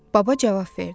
Baba cavab verdi: